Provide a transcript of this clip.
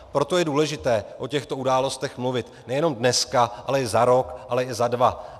Proto je důležité o těchto událostech mluvit nejenom dneska, ale i za rok, ale i za dva.